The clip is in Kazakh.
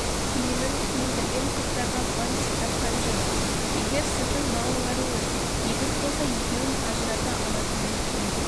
киімін киіндірген қыздарға бантик таққан жөн егер сіздің балаларыңыз егіз болса екеуін ажырата алатындай киім